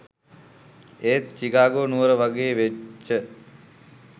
ඒත් චිකාගෝ නුවර වගේ වෙච්ච